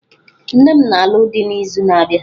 Nne m na-alụ dị n'izu na-abịa.